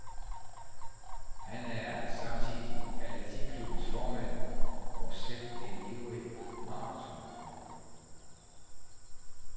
Han er samtidig atletikklubbens formand og selv en ivrig marathonløber.